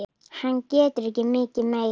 Hann getur ekki mikið meir.